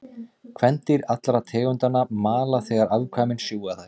Kvendýr allra tegundanna mala þegar afkvæmin sjúga þær.